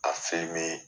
Ka